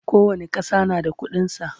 kowani ƙasa na da ƙuɗin sa